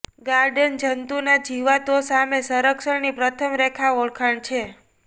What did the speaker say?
garden જંતુના જીવાતો સામે સંરક્ષણની પ્રથમ રેખા ઓળખ છે